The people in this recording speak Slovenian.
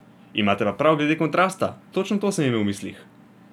Imate pa prav glede kontrasta, točno to sem imel v mislih.